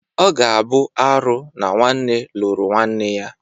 Ọ ga-abụ arụ na nwanne lụrụ nwanne ya.